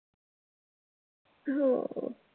हो